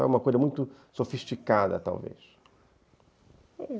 É uma coisa muito sofisticada, talvez.